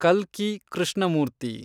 ಕಲ್ಕಿ ಕೃಷ್ಣಮೂರ್ತಿ